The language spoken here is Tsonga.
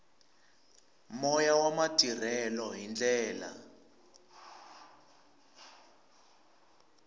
moya wa matirhelo hi ndlela